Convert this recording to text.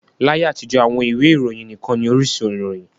Láyé àtijọ́, àwọn ìwé ìròyìn nikan ni orísun ìròyìn.